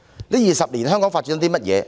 這20年來香港發展了甚麼呢？